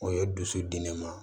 O ye dusu di ne ma